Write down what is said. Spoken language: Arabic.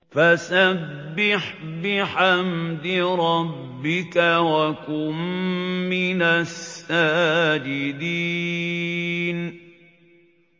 فَسَبِّحْ بِحَمْدِ رَبِّكَ وَكُن مِّنَ السَّاجِدِينَ